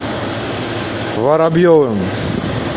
воробьевым